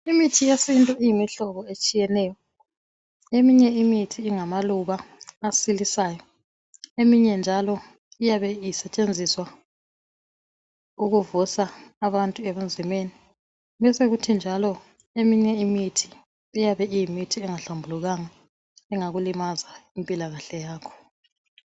Imithi yesintu iyimihlobo etshiyeneyo. Eminye imithi ingabaluba asilisayo. Eminye njalo iyabe isetshenziswa ukuvusa abantu ebunzimeni. Besekuthi njalo eminye imithi, iyabe iyimithi engahlambulukanga. Engakulimaza impilakahle yakho.